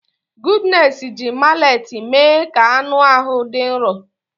Goodness ji mallet mee ka anụ ahụ dị nro.